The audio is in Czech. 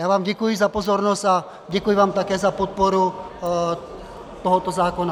Já vám děkuji za pozornost a děkuji vám také za podporu tohoto zákona.